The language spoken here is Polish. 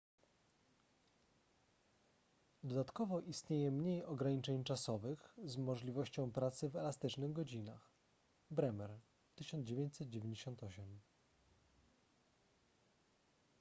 dodatkowo istnieje mniej ograniczeń czasowych z możliwością pracy w elastycznych godzinach bremer 1998